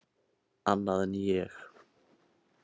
Annað en ég.